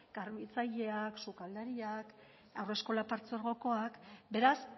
garbitzaileak sukaldariak haurreskola partzuergokoak beraz